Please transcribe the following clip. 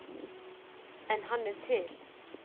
En hann er til.